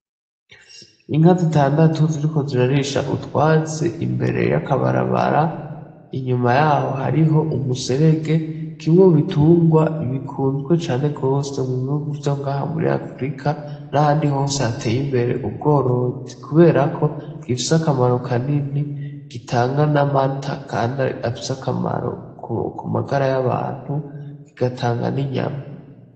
Inka zitandatu ziriko zirarisha utwatsi imbere y'akabarabara, inyuma yaho hariho umuserege, kimwe mu bitungwa bikunzwe cane gose mu bihugu vyo ngaha muri Afurika n'ahandi hose hateye imbere ubworozi, kuberako gifise akamaro kanini gitanga n'amata kandi afise akamaro ku magara y'abantu kigatanga n'inyama.